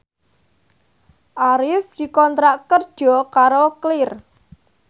Arif dikontrak kerja karo Clear